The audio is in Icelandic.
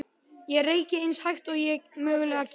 Ég reyki eins hægt og ég mögulega get.